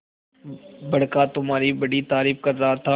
बड़का तुम्हारी बड़ी तारीफ कर रहा था